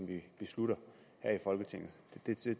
vi beslutter her i folketinget